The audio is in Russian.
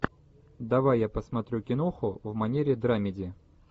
давай я посмотрю киноху в манере драмеди